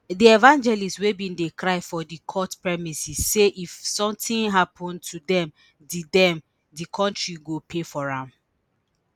di evangelist wey bin dey cry for di court premises say if something happun to dem di dem di kontri go pay for am